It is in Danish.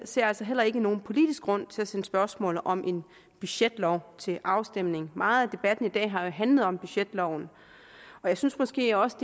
ser altså heller ikke nogen politisk grund til at sende spørgsmålet om en budgetlov til afstemning meget af debatten i dag har jo handlet om budgetloven jeg synes måske også